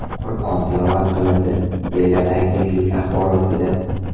Qur’on tilovat qilindi”, deyiladi agentlik axborotida.